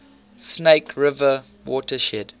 snake river watershed